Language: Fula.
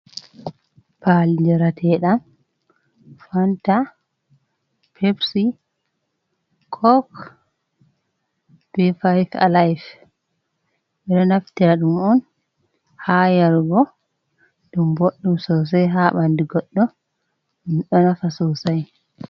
Paali njrateɗan. fanta, pepsi, kok be fayt alaif. Ɓe ɗo naftira ɗum on haa yarugo. Ɗum boɗɗum sosai haa ɓandu goɗɗo, ɗum ɗo nafa sosai.